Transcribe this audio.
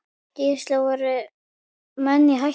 Gísli: Voru menn í hættu?